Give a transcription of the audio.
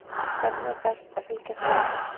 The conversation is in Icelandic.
Hvernig er best að fylgjast með?